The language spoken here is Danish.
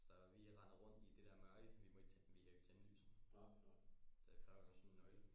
Så vi render rundt i det der mørke vi må ikke vi kan jo ikke tænde lyset det kræver jo sådan en nøgle